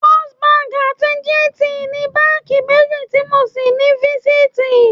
First Bank àti GTB ni báńkì méjì tí mo ṣí ní fásitì.